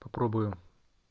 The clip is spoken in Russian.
попробую